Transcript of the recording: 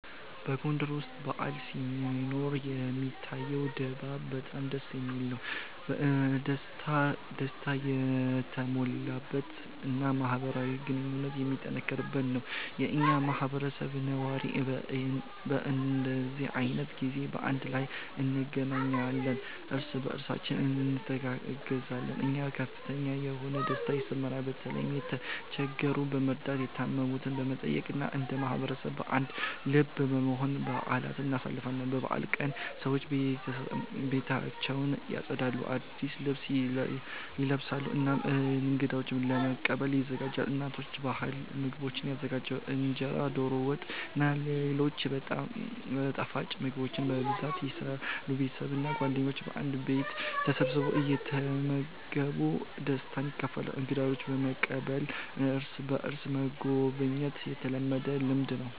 በጎንደር ውስጥ በዓል ሲኖር የሚታየው ድባብ በጣም ደስ የሚል፣ ደስታ የተሞላበት እና ማህበራዊ ግንኙነት የሚጠነክርበት ነው። የኛ ማህበረሰብ ነዋሪዎች በእንዲህ ዓይነት ጊዜ በአንድ ላይ እንገናኛለን፣ እርስ በእርሳችን እንተጋገዛለን እና ከፍተኛ የሆነ ደስታ ይሰማናል። በተለይም የተቸገሩትን በመርዳት፣ የታመሙትን በመጠየቅ እና እንደ ማህበረሰብ በአንድ ልብ በመሆን በአልን እናሳልፋለን። በበዓል ቀናት ሰዎች ቤታቸውን ያጸዳሉ፣ አዲስ ልብስ ይለብሳሉ እና እንገዶችን ለመቀበል ይዘጋጃሉ። እናቶች ባህላዊ ምግቦችን ይዘጋጃሉ፣ እንጀራ፣ ዶሮ ወጥ እና ሌሎች ጣፋጭ ምግቦች በብዛት ይሰራሉ። ቤተሰብ እና ጓደኞች በአንድ ቤት ተሰብስበው እየተመገቡ ደስታን ያካፍላሉ። እንግዶችን መቀበልና እርስ በእርስ መጎብኘት የተለመደ ልምድ ነው።